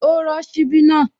Ó rọ́ ṣíbí náà